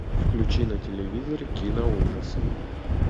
включи на телевизоре киноужасы